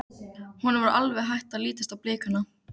Honum var alveg hætt að lítast á blikuna.